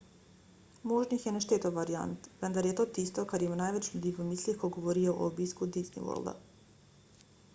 možnih je nešteto variant vendar je to tisto kar ima največ ljudi v mislih ko govorijo o obisku disney worlda